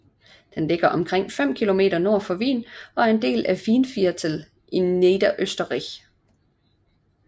Den ligger omkring 5 km nordøst for Wien og er en del af Weinviertel i Niederösterreich